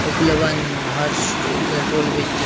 one हर्ष और petrol बेचतें --